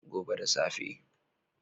Gobe da safe.